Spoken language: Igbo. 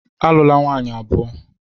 Alụla nwunye abụọ!